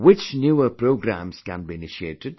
Which newer programmes can be initiated